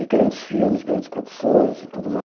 E grandes filmes, grandes produções e tudo